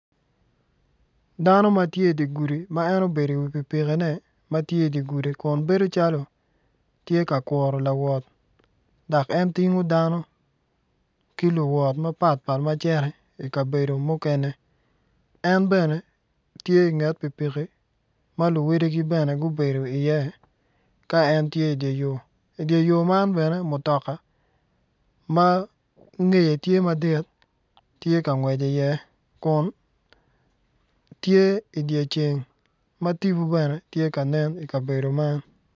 Dano matye idye gudu ma en obedo inge pikipikine matye idye gudi kun tye ka kuru lawot dok en tingo dano ki luwot mapatpat ki luwot mukene en bene tye inget pikipiki maluwadigi bene gubedo i iye ka en tye idye yo idye yo man bene ma ngeye tye madit tye ka ngwec i iye tye idye ceng ma tipo bene tye ka nen i kabedo man